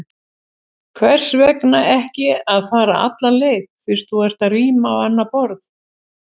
Hvers vegna ekki að fara alla leið, fyrst þú ert að ríma á annað borð?